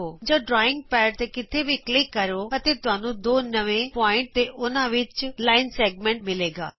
ਜਾਂ drawing pad ਤ ਕਿਤੇ ਵੀ ਕਲਿਕੇ ਕਰੋ ਅਤੇ ਤੁਹਾਨੂੰ ਦੋ ਨਵੇਂ ਬਿੰਦੂ ਤੇ ਉਹਨਾਂ ਵਿਚ ਵਰਿਤ ਖੰਡ ਮਿਲੇਗਾ